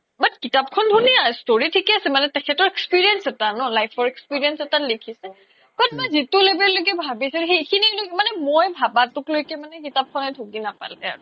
but কিতাপ খন ধুনিয়া story ঠিকে আছে মানে তেখেতৰ experience এটা ন life ৰ experience এটা লিখিছে but মই যিটো level লৈকে ভাবিছোঁ সেইখিনি কিন্তু মই ভবা ভবা টো লৈকে কিতাপ খনে ঢুকি নাপালে আৰু